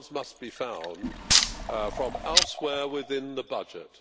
Funds must be found from elsewhere within the budget.